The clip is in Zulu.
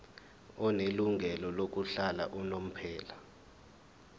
onelungelo lokuhlala unomphela